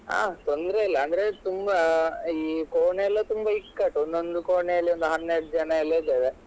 ಹ ತೊಂದ್ರೆ ಇಲ್ಲ ಆದ್ರೆ ತುಂಬ ಈ ಕೋಣೆ ಎಲ್ಲ ತುಂಬ ಇಕ್ಕಟ್ಟು ಒಂದೊಂದು ಕೋಣೆ ಅಲ್ಲಿ ಒಂದ್ ಹನ್ನೆರಡು ಜನ ಎಲ್ಲ ಇದ್ದೇವೆ.